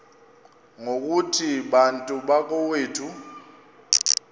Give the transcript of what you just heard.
ngokuthi bantu bakowethu